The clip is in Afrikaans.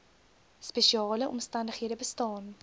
spesiale omstandighede bestaan